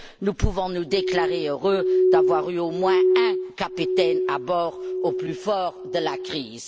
Nous pouvons nous déclarer heureux d'avoir eu, au moins, un capitaine à bord au plus fort de la crise.